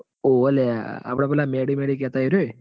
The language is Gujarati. હોવ લ્યા આપડ મેડી મેડી કેતા અરીઓએ?